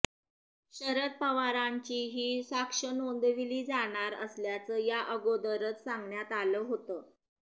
शरद पवारांचीही साक्ष नोंदवली जाणार असल्याचं या अगोदरच सांगण्यात आलं होतं